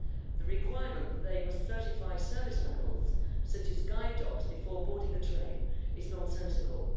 The requirement that they must certify service animals, such as guide dogs, before boarding a train is nonsensical.